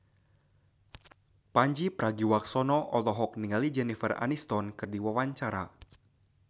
Pandji Pragiwaksono olohok ningali Jennifer Aniston keur diwawancara